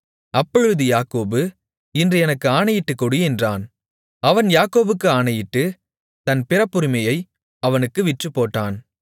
அப்பொழுது யாக்கோபு இன்று எனக்கு ஆணையிட்டுக்கொடு என்றான் அவன் யாக்கோபுக்கு ஆணையிட்டு தன் பிறப்புரிமையை அவனுக்கு விற்றுப்போட்டான்